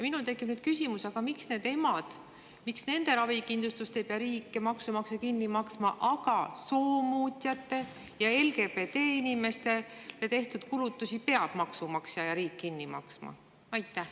Minul tekib küsimus: miks nende emade ravikindlustust ei pea riik ja maksumaksja kinni maksma, aga soomuutjatele ja LGBT-inimestele tehtud kulutused peavad maksumaksja ja riik kinni maksma?